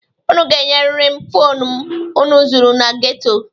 Unu ga-enyeriri m fonu m unu zuru na geto.